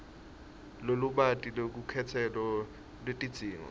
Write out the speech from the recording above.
lolubanti lwelukhetselo lwetidzingo